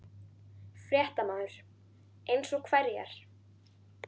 Fréttamaður: Eins og hverjar?